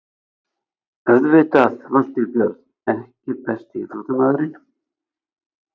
Auðvitað Valtýr Björn EKKI besti íþróttafréttamaðurinn?